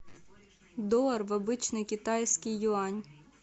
доллар в обычный китайский юань